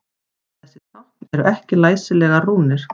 Þessi tákn eru ekki læsilegar rúnir.